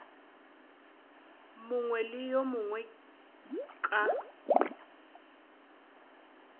mongwe le yo mongwe ka